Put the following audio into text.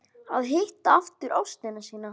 Að hitta aftur ástina sína